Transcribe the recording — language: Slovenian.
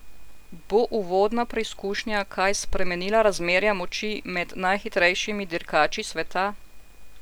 Bo uvodna preizkušnja kaj spremenila razmerja moči med najhitrejšimi dirkači sveta?